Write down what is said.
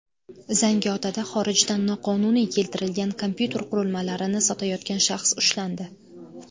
Zangiotada xorijdan noqonuniy keltirilgan kompyuter qurilmalarini sotayotgan shaxs ushlandi.